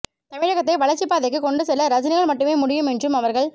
தமிழகத்தை வளர்ச்சிப்பாதைக்கு கொண்டு செல்ல ரஜினியால் மட்டுமே முடியும் என்றும் அவர்கள்